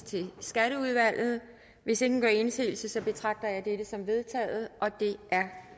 til skatteudvalget hvis ingen gør indsigelse betragter jeg dette som vedtaget det er